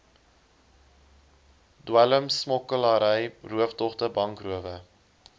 dwelmsmokkelary rooftogte bankrowe